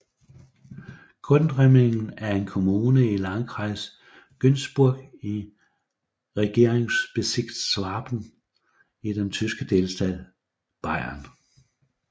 Gundremmingen er en kommune i Landkreis Günzburg i Regierungsbezirk Schwaben i den tyske delstat Bayern